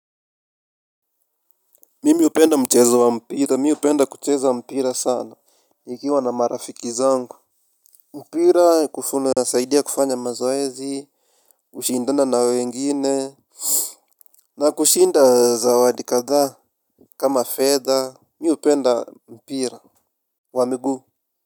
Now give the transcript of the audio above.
Mimi upenda mchezo wa mpira mimi hupenda kucheza mpira sana nikiwa na marafiki zangu. Mpira kufu unasaidia kufanya mazoezi ushindana na wengine. Na kushinda zawadi kadhaa kama fedha. Mi upenda mpira wa miguu.